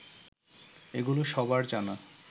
এগুলো সবার জানা